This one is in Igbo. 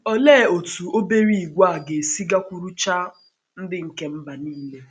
Olee otú obere ìgwè a ga um - esi gakwuruchaa “ um ndị nke mba um nile ”?